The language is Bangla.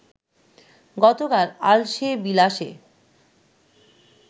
গতকাল আলসে-বিলাসে